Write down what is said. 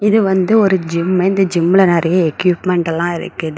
இது வந்து ஒரு ஜிம்மு இந்த ஜிம்முல நெறைய எக்யூப்மென்ட் எல்லா இருக்குது.